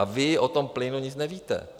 A vy o tom plynu nic nevíte.